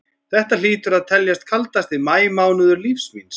Þetta hlýtur að teljast kaldasti maí mánuður lífs míns.